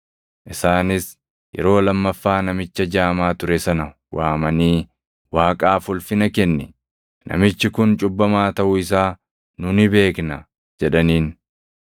Isaanis yeroo lammaffaa namicha jaamaa ture sana waamanii, “Waaqaaf ulfina kenni. Namichi kun cubbamaa taʼuu isaa nu ni beekna” jedhaniin.